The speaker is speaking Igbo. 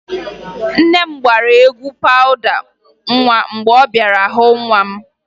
Nne m gbara egwu pawụda nwa mgbe ọ bịara hụ nwa m